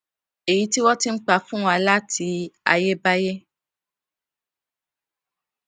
èyí tí wọn ti n pa fún wa láti ayébáyé